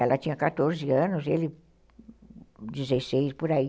Ela tinha quatorze anos, ele dezesseis, por aí.